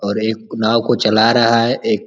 और एक नाव को चला रहा है। एक --